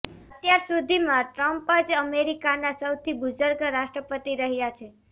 અત્યાર સુધીમાં ટ્રમ્પ જ અમેરિકાના સૌથી બુઝર્ગ રાષ્ટ્રપતિ રહ્યા છે